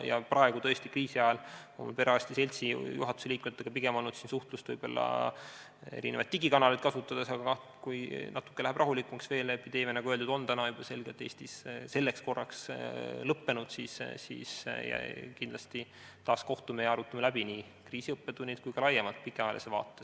Ja praegu, kriisiajal olen tõesti perearstide seltsi juhatuse liikmetega suhtluses erinevaid digikanaleid kasutades, aga kui läheb veel natuke rahulikumaks – epideemia on, nagu öeldud, Eestis selleks korraks selgelt lõppenud –, siis kindlasti kohtume taas ja arutame läbi nii kriisi õppetunnid kui ka laiemalt pikaajalise vaate.